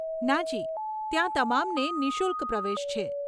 નાજી, ત્યાં તમામને નિઃશુલ્ક પ્રવેશ છે.